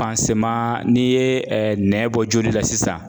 n'i ye nɛn bɔ joli la sisan